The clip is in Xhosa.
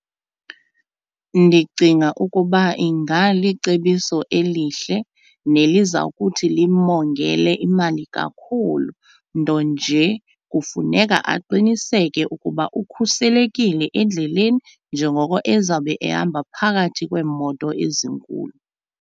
Ndicinga ukuba ingalicebiso elihle neliza kuthi limongele imali kakhulu, nto nje kufuneka aqiniseke ukuba ukhuselekile endleleni njengoko ezawube ehamba phakathi kweemoto ezinkulu.